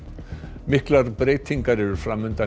miklar breytingar eru fram undan í